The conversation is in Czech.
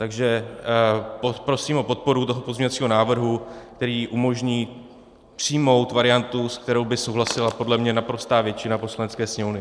Takže prosím o podporu toho pozměňovacího návrhu, který umožní přijmout variantu, s kterou by souhlasila podle mě naprostá většina Poslanecké sněmovny.